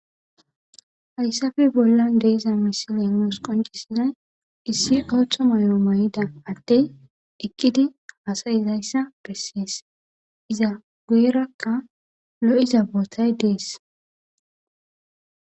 hayssape bollan de'iza misilennos nuus qoncissizay issi boththa may'o may'idda adey eqkidi haasayizayssa bessees iza guwerakka lo'iiza boottay dees